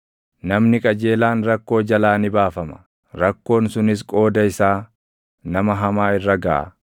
Namni qajeelaan rakkoo jalaa ni baafama; rakkoon sunis qooda isaa nama hamaa irra gaʼa.